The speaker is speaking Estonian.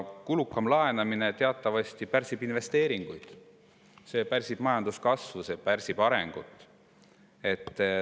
Kulukam laenamine teatavasti pärsib investeeringuid, see pärsib majanduskasvu, see pärsib arengut.